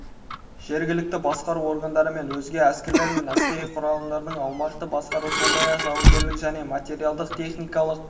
жергілікті басқару органдары және өзге әскерлер мен әскери құралымдардың аумақтық басқару сондай-ақ жауынгерлік және материалдық-техникалық